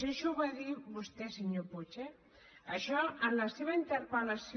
això ho va dir vostè senyor puig eh això en la seva interpel·lació